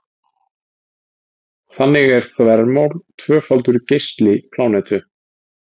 Þannig er þvermál tvöfaldur geisli plánetu.